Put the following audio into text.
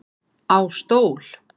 Á stól